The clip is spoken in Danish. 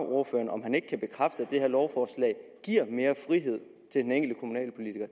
ordføreren om han kan bekræfte at det her lovforslag giver mere frihed